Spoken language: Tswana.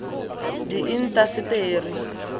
diintaseteri